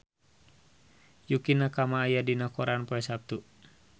Yukie Nakama aya dina koran poe Saptu